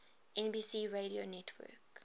nbc radio network